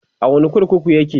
a wani kurkukun yake?